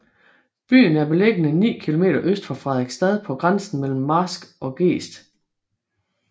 Byen er beliggende ni kilometer øst for Frederiksstad på grænsen mellem marsk og gest